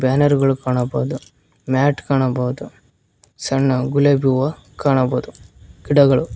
banner ಗಳು ಕಾಣಬೋದು mat ಕಾಣಬೋದು ಸಣ್ಣ ಗುಲಾಬಿ ಹೂವ ಕಾಣಬೋದು ಗಿಡಗಳು --